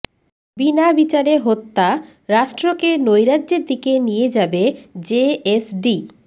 বিনা বিচারে হত্যা রাষ্ট্রকে নৈরাজ্যের দিকে নিয়ে যাবে জেএসডি